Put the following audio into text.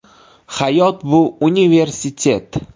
Hayot bu universitet.